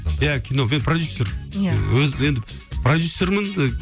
иә кино мен продюссер иә өз енді продюссермін і